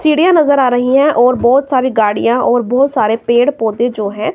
सीढ़ियां नजर आ रही है और बहोत सारी गाड़ियां और बहोत सारे पेड़ पौधे जो है--